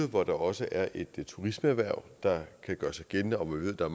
hvor der også er et turismeerhverv der kan gøre sig gældende og hvor vi ved der